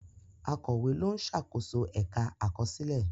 Akọ̀wé ló ń ṣàkóso ẹ̀ka àkọsílẹ̀.